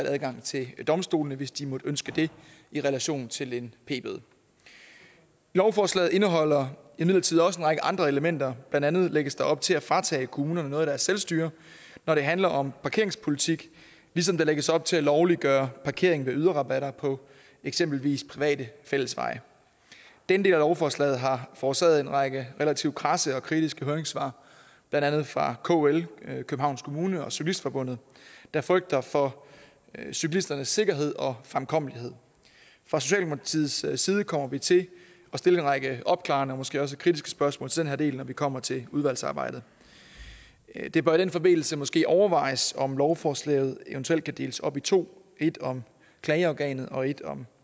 adgang til domstolene hvis de måtte ønske det i relation til en p bøde lovforslaget indeholder imidlertid også en række andre elementer blandt andet lægges der op til at fratage kommunerne noget af deres selvstyre når det handler om parkeringspolitik ligesom der lægges op til at lovliggøre parkering ved yderrabatter på eksempelvis private fællesveje den del af lovforslaget har forårsaget en række relativt kradse og kritiske høringssvar blandt andet fra kl københavns kommune og cyklistforbundet der frygter for cyklisternes sikkerhed og fremkommelighed fra socialdemokratiets side kommer vi til at stille en række opklarende og måske også kritiske spørgsmål til den her del når vi kommer til udvalgsarbejdet det bør i den forbindelse måske overvejes om lovforslaget eventuelt kan deles op i to et om klageorganet og et om